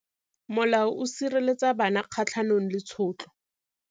Molao o sireletsa bana kgatlhanong le tshotlo.